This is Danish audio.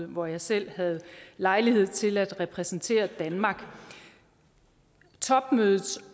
hvor jeg selv havde lejlighed til at repræsentere danmark topmødets